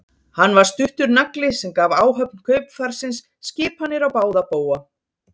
Hann var stuttur nagli sem gaf áhöfn kaupfarsins skipanir á báða bóga.